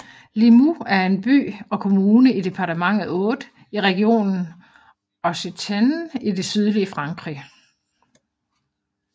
Limoux er en by og kommune i departementet Aude i regionen Occitanie i det sydlige Frankrig